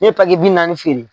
Ne ye bi naani feere